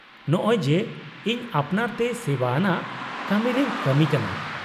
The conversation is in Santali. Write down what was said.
- ᱱᱚᱸᱜ ᱚᱭ ᱡᱮ, ᱤᱧ ᱟᱯᱱᱟᱨ ᱛᱮ ᱥᱮᱵᱟ ᱟᱱᱟᱜ ᱠᱟᱢᱤᱨᱮᱧ ᱠᱟᱢᱤ ᱠᱟᱱᱟ ᱾